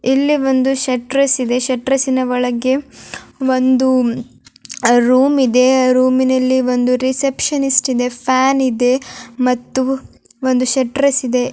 ಇಲ್ಲಿ ಒಂದು ಶೆಟ್ರೆಸ್ ಇದೆ. ಶೆಟ್ರೆಸಿನ ಒಳಗೆ ಒಂದು ರೂಮ್ ಇದೆ ರೂಮಿನಲ್ಲಿ ಒಂದು ರೆಸೆಪಿಷನಿಸ್ಟ್ ಇದೆ ಫ್ಯಾನ್ ಇದೆ ಮತ್ತೆ ಒಂದು ಶೆಟ್ರೆಸ್ ಇದೆ.